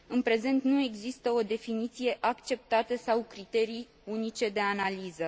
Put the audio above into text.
În prezent nu există o definiție acceptată sau criterii unice de analiză.